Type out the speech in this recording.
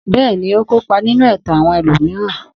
Bẹ́ẹ̀ni, ó kópa nínú ẹ̀tàn àwọn ẹlòmíràn.